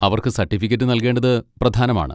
അവർക്ക് സർട്ടിഫിക്കറ്റ് നൽകേണ്ടത് പ്രധാനമാണ്.